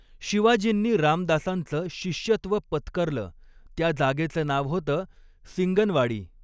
शिवाजींनी रामदासांच शिष्यत्व पत्करलं त्या जागेचं नाव होतं सिंगनवाडी